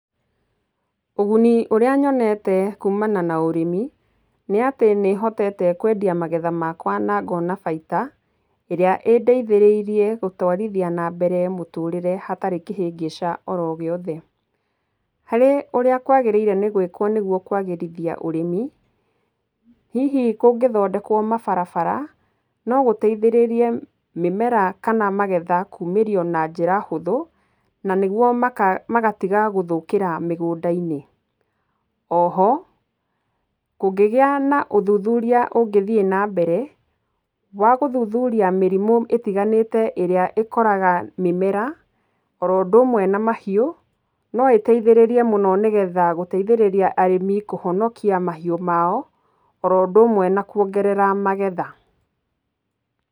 Ũguni ũrĩa nyonete kumana na ũrĩmi, nĩatĩ nĩhotete kwendia magetha makwa na ngona baida ĩrĩa ĩndeithĩrĩirie gũtwarithia nambere mũtũrĩre hatarĩ kĩhĩngĩca oro gĩothe. Harĩ ũrĩa kwagĩrĩire nĩ gwĩkwo nĩgwo kwagĩrithia ũrĩmi, hihi kũngĩthondekwo mabarabara, no gũteithĩrĩrie mĩmera kana magetha kuumĩrio na njĩra hũthũ na nĩgwo maka, magatiga gũthũkĩra mĩgũnda-inĩ. Oho kũngĩgĩa na ũthuthuria ũngĩthiĩ nambere wa gũthuthuria mĩrimũ ĩtiganĩte ĩrĩa ĩkoraga mĩmera oro ũndũ ũmwe na mahiũ, no ĩteithĩrĩrie mũno nĩgetha gũteithĩrĩria arĩmi kũhonokia mahiũ mao oro ũndũ ũmwe na kũongerera magetha.